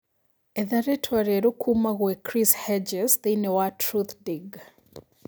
etha rītwa rīeru kuma gwī chris hedges thīini wa truthdig